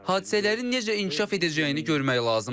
Hadisələrin necə inkişaf edəcəyini görmək lazımdır.